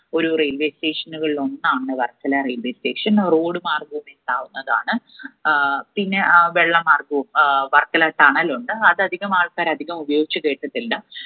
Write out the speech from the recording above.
ഒരു railway station ഉകളിൽ ഒന്നാണ് വർക്കല railway station. road മാർഗവും എത്താവുന്നതാണ് ഏർ പിന്നെ ഏർ വെള്ളം മാർഗവും ഏർ വർക്കല tunnel ഉണ്ട്. അത് അധികം ആൾക്കാർ അധികം ഉപയോഗിച്ച് കേട്ടിട്ടില്ല